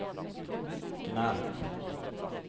Gnarp